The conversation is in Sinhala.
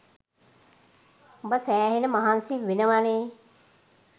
උඹ සැහෙන මහන්සි වෙනවනේ